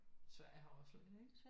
Sverige har også